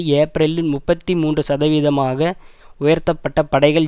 ஏப்ரலில் முப்பத்தி மூன்று சதவிதமாக உயர்த்தப்பட்ட படைகள்